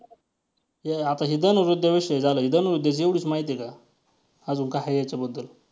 ते आता हे धनुर्विद्याविषयी झालं हे धनुर्विद्याची एवढीच माहिती आहे का? अजून काय आहे याच्याबद्दल?